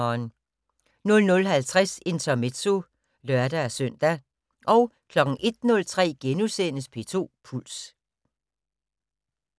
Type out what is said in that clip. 00:50: Intermezzo (lør-søn) 01:03: P2 Puls *